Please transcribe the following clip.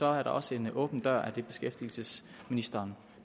er der også en åben dør det er det beskæftigelsesministeren